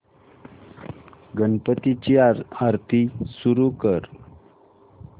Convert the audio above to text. गणपती ची आरती सुरू कर